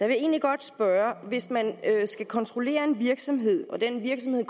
vil egentlig godt spørge hvis man skal kontrollere en virksomhed og den virksomhed